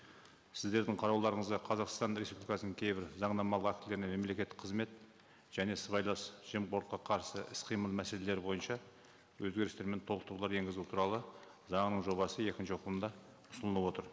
сіздердің қарауларыңызға қазақстан республикасының кейбір заңнамалық актілеріне мемлекеттік қызмет және сыбайлас жемқорлыққа қарсы іс қимыл мәселелері бойынша өзгерістер мен толықтырулар енгізу туралы заңының жобасы екінші оқылымда ұсынылып отыр